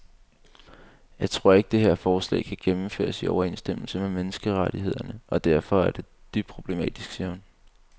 Jeg tror ikke, det her forslag kan gennemføres i overensstemmelse med menneskerettighederne og derfor er det dybt problematisk, siger hun.